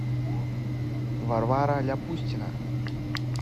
варвара ляпустина